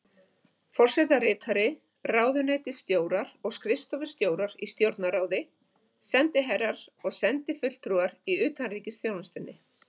Forsetaritari, ráðuneytisstjórar og skrifstofustjórar í Stjórnarráði, sendiherrar og sendifulltrúar í utanríkisþjónustunni.